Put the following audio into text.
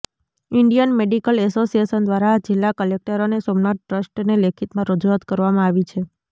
Indian medical association દ્વારા જિલ્લા collector અને સોમનાથ ટ્રસ્ટને લેખિતમાં રજુઆત કરવામાં આવી છે